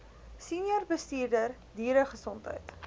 senior bestuurder dieregesondheid